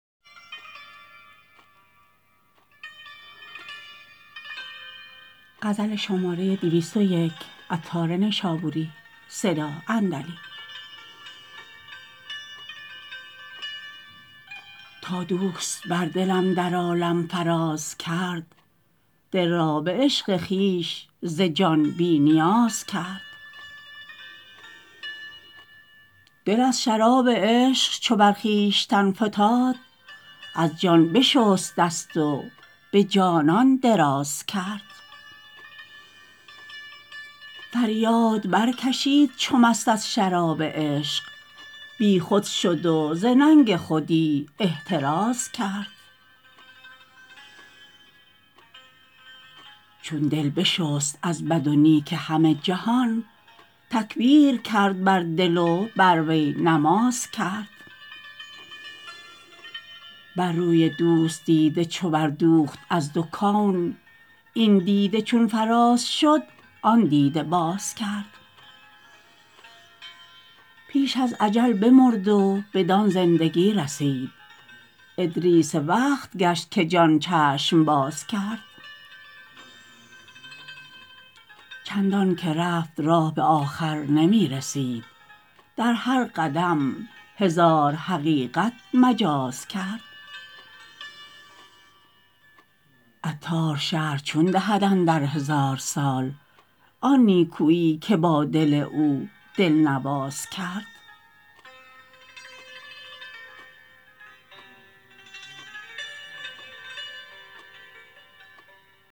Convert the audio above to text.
تا دوست بر دلم در عالم فراز کرد دل را به عشق خویش ز جان بی نیاز کرد دل از شراب عشق چو بر خویشتن فتاد از جان بشست دست و به جانان دراز کرد فریاد برکشید چو مست از شراب عشق بیخود شد و ز ننگ خودی احتراز کرد چون دل بشست از بد و نیک همه جهان تکبیر کرد بر دل و بر وی نماز کرد بر روی دوست دیده چو بر دوخت از دو کون این دیده چون فراز شد آن دیده باز کرد پیش از اجل بمرد و بدان زندگی رسید ادریس وقت گشت که جان چشم باز کرد چندان که رفت راه به آخر نمی رسید در هر قدم هزار حقیقت مجاز کرد عطار شرح چون دهد اندر هزار سال آن نیکویی که با دل او دلنواز کرد